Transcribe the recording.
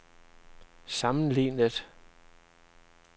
sammenlignet